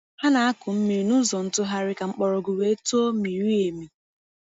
Ha na-akụ mmiri n’ụzọ ntụgharị ka mgbọrọgwụ wee too miri emi.